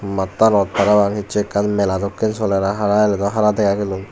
mattanot parapang ecche ekkan mela dokke soler hara hiladakdo hara dega gelun.